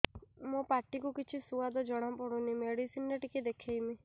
ମୋ ପାଟି କୁ କିଛି ସୁଆଦ ଜଣାପଡ଼ୁନି ମେଡିସିନ ରେ ଟିକେ ଦେଖେଇମି